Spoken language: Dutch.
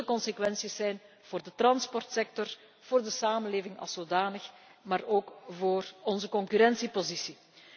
Er zullen consequenties zijn voor de transportsector, voor de samenleving als zodanig, maar ook voor onze concurrentiepositie.